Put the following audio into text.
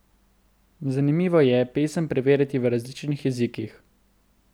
Zanimivo je pesem preverjati v različnih jezikih.